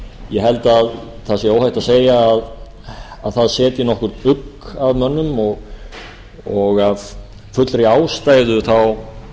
ég held að óhætt sé að segja að það setji nokkurn ugg að mönnum og af fullri ástæðu